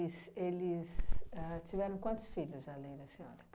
Es eles ahn tiveram quantos filhos além da senhora?